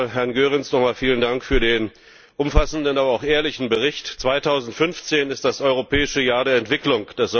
Zunächst einmal Herrn Goerens nochmals vielen Dank für den umfassenden, aber auch ehrlichen Bericht. 2015 ist das Europäische Jahr der Entwicklung.